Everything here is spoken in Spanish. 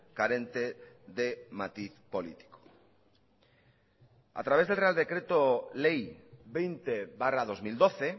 carente de matiz político a través del real decreto ley veinte barra dos mil doce